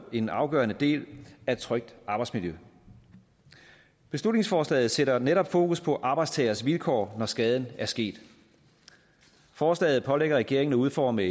en afgørende del af et trygt arbejdsmiljø beslutningsforslaget sætter netop fokus på arbejdstagers vilkår når skaden er sket forslaget pålægger regeringen at udforme